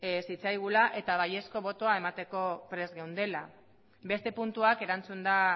zitzaigula eta baiezko botoa emateko prest geundela beste puntuak erantzunda